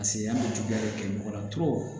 an bɛ juguya de kɛ mɔgɔ la